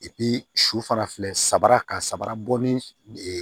su fana filɛ saba ka sabara bɔ ni